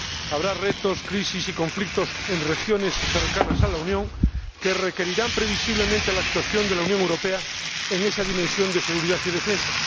Habrá retos, crisis y conflictos en regiones cercanas a la Unión que requerirán previsiblemente la actuación de la Unión Europea en esa dimensión de seguridad y defensa.